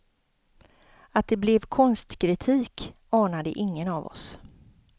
Att det blev konstkritik anade ingen av oss.